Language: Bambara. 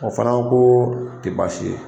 O fana ko ko o tɛ baasi ye